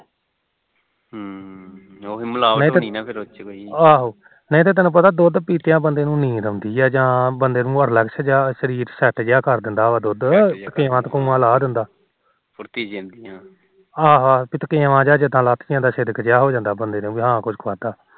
ਨਹੀ ਤੈਨੂੰ ਪਤਾ ਦੁਧ ਪੀਕੇ ਬੰਦੇ ਨੂੰ ਨੀਂਦ ਜੀ ਆਉਂਦੀ ਆ ਜਾ relax ਜਾ ਸਰੀਰ set ਜਾ ਕਰ ਦਿੰਦਾ ਦੁਧ ਥਕੇਮਾ ਥਕੁਮਾ ਲਾਹ ਦਿੰਦਾ ਆਹੋ ਆਹੋ ਥਕੇਮਾ ਜਾ ਜਿੰਦਾ ਲੱਥ ਜਾਂਦਾ ਹਾ ਕੁਛ ਖਾਦਾ